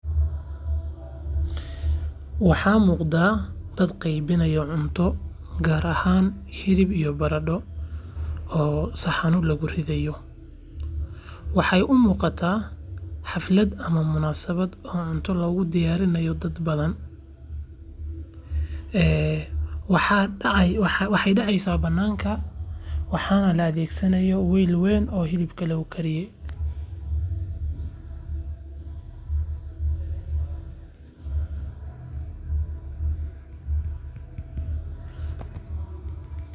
Waxa muqda dad qeybinayo cunto hilib iyo barando oo saxama lagu ridayo waxay umuqata xalfad ama munasabad cunto, lagu diyarinayo dad badhan waxay deceysa bananka waxa nah laa adheg sanahaya wel weyn oo hilibka lagu kariye .